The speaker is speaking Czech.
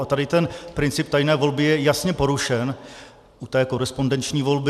A tady ten princip tajné volby je jasně porušen u té korespondenční volby.